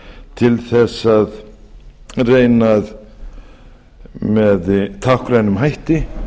til þess að reyna með táknrænum hætti